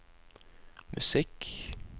musikk